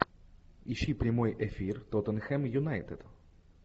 ищи прямой эфир тоттенхэм юнайтед